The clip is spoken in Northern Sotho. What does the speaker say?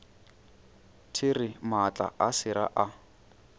there maatla a sera a